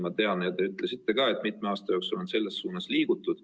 Ma tean ja teie ütlesite ka, et mitme aasta jooksul on selles suunas liigutud.